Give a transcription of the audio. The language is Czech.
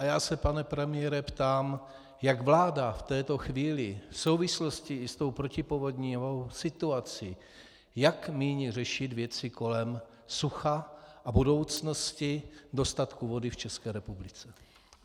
A já se, pane premiére, ptám, jak vláda v této chvíli v souvislosti i s tou protipovodňovou situací, jak míní řešit věci kolem sucha a budoucnosti dostatku vody v České republice.